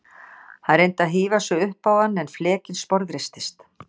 Hann reyndi að hífa sig upp á hann en flekinn sporðreistist.